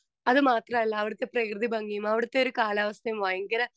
speaker 2 അത് മാത്രമല്ല അവിടുത്തെ പ്രകൃതി ഭംഗിയും അവിടുത്തെ ഒരു കാലാവസ്ഥയും ഭയങ്കര